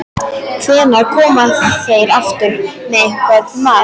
Hvenær koma þeir aftur með einhvern mat?